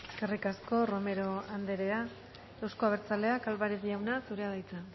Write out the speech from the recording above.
eskerrik asko romero andrea euzko abertzaleak álvarez jauna zurea da hitza